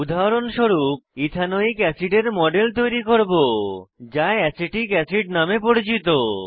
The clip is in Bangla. উদাহরণস্বরূপ ইথানোয়িক অ্যাসিডের মডেল তৈরী করব যা অ্যাসিটিক অ্যাসিড নামে পরিচিত